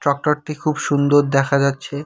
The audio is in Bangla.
ট্রাক্টরটি খুব সুন্দ দেখা যাচ্ছে।